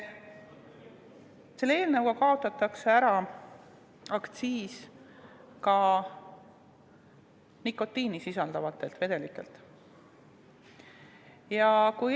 Selle eelnõuga kaotatakse ära ka nikotiini sisaldavate vedelike aktsiis.